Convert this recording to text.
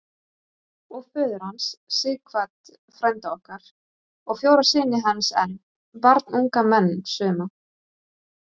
Og föður hans, Sighvat frænda okkar, og fjóra syni hans enn, barnunga menn suma.